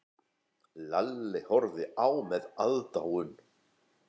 Lalli horfði á með aðdáun.